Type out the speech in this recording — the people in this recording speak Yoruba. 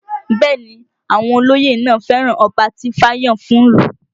Bẹ́ẹ̀ ni àwọn olóyè náà fẹ́ràn ọba tí ifá yàn fún ìlú